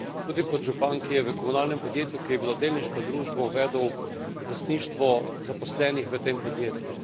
Tudi kot župan, ki je v komunalnem podjetju, ki je bilo delniška družba, uvedel lastništvo zaposlenih v tem podjetju.